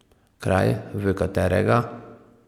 Kraj, v katerega?